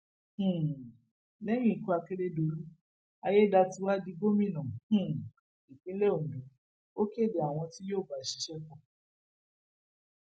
um lẹyìn ikú akérèdọlú ayédáiwa di gómìnà um ìpínlẹ ondo ó kéde àwọn tí yóò bá a ṣiṣẹ pọ